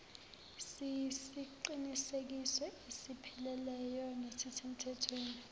siyisiqinisekiso esipheleleyo nesisemthethweni